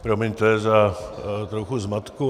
Promiňte za trochu zmatku.